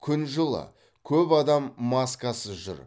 күн жылы көп адам маскасыз жүр